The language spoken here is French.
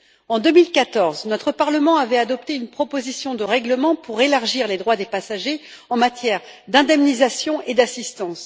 En 2014, notre Parlement avait adopté une proposition de règlement pour élargir les droits des passagers en matière d'indemnisation et d'assistance.